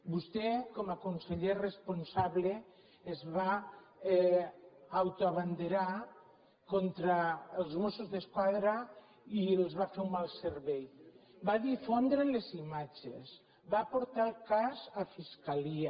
vostè com a conseller responsable es va autoabanderar contra els mossos d’esquadra i els va fer un mal servei va difondre les imatges va portar el cas a fiscalia